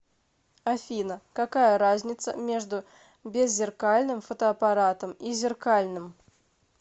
афина какая разница между беззеркальным фотоаппаратом и зеркальным